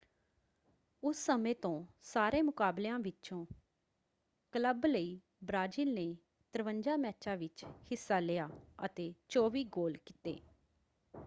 ਉਸ ਸਮੇਂ ਤੋਂ ਸਾਰੇ ਮੁਕਾਬਲਿਆਂ ਵਿੱਚੋਂ ਕਲੱਬ ਲਈ ਬ੍ਰਾਜ਼ੀਲ ਨੇ 53 ਮੈਚਾਂ ਵਿੱਚ ਹਿੱਸਾ ਲਿਆ ਅਤੇ 24 ਗੋਲ ਕੀਤੇ।